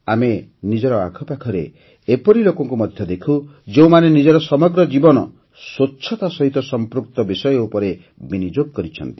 ଆମେ ନିଜର ଆଖପାଖରେ ଏପରି ଲୋକଙ୍କୁ ମଧ୍ୟ ଦେଖୁ ଯେଉଁମାନେ ନିଜର ସମଗ୍ର ଜୀବନ ସ୍ୱଚ୍ଛତା ସହିତ ସଂପୃକ୍ତ ବିଷୟ ଉପରେ ବିନିଯୋଗ କରିଛନ୍ତି